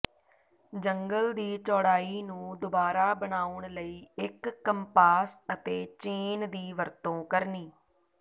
ਜੰਗਲ ਦੀ ਚੌੜਾਈ ਨੂੰ ਦੁਬਾਰਾ ਬਣਾਉਣ ਲਈ ਇੱਕ ਕੰਪਾਸ ਅਤੇ ਚੇਨ ਦੀ ਵਰਤੋਂ ਕਰਨੀ